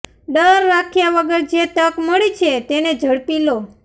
ડર રાખ્યા વગર જે તક મળી છે તેને ઝડપી લો